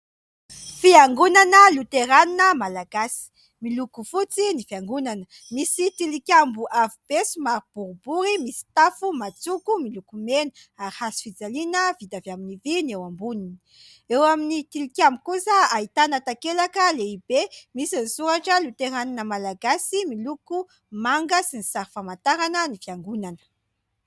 Fiangonana Loterana Malagasy miloko fotsy ny fiangonana, misy tilikambo avo be somary boribory, misy tafo matsoko miloko mena ary hazofijaliana vita avy amin'ny vy ny eo amboniny. Eo amin'ny tilikambo kosa ahitana takelaka lehibe misy soratra Loterana Malagasy miloko manga sy ny sary famantarana ny fiangonana.